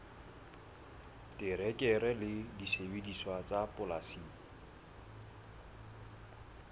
terekere le disebediswa tsa polasing